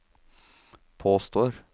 påstår